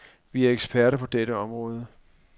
Vi er eksperter på dette område.